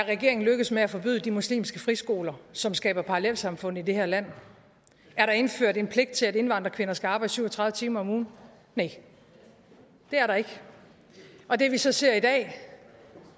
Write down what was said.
er regeringen lykkedes med at forbyde de muslimske friskoler som skaber parallelsamfund i det her land er der indført en pligt til at indvandrerkvinder skal arbejde syv og tredive timer om ugen næh det er der ikke og det vi så ser i dag